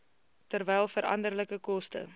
terwyl veranderlike koste